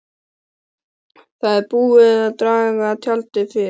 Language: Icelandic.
Það er búið að draga tjaldið fyrir.